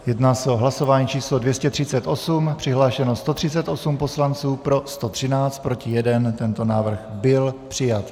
Jedná se o hlasování číslo 238, přihlášeno 138 poslanců, pro 113, proti 1, tento návrh byl přijat.